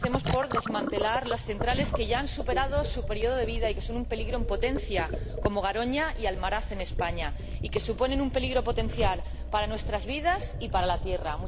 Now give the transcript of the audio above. Comencemos por desmantelar las centrales que ya han superado su periodo de vida y son un peligro en potencia, como Garoña y Almaraz en España, y que suponen un peligro potencial para nuestras vidas y para la Tierra.